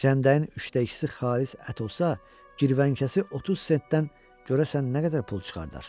Cəndəyin üçdə ikisi xalis ət olsa, girvənkəsi 30 sentdən görəsən nə qədər pul çıxardar?